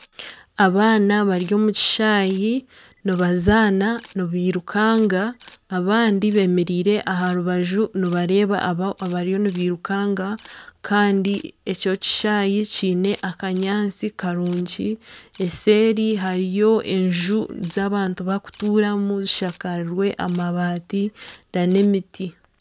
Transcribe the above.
Abaana bari omu kishayi nibazana nibirukanga abandi bemereire aha rubaju nibareba abo abariyo nibirukanga Kandi ekyo ekishayi kiine akanyaantsi karungi. Eseeri hariyo enju z'abantu bakuturamu zishakarize amabati n'emiti.